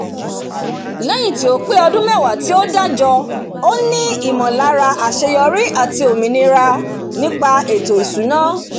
léyìn tí ó pé odún mewa tí ó dájo ó ní ìmòláre àseyorí àti òmìnira nípa ètò ìsúná